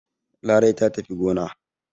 Larai ta tafi gona.